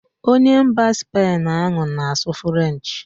Onye mba Spain ahụ na-asụ frenchị